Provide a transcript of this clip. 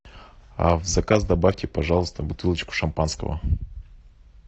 а в заказ добавьте пожалуйста бутылочку шампанского